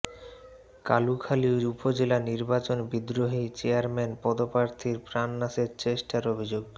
কালুখালী উপজেলা নির্বাচন বিদ্রোহী চেয়ারম্যান পদপ্রার্থীর প্রাণনাশের চেষ্টার অভিযোগ